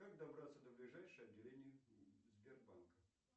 как добраться до ближайшего отделения сбербанка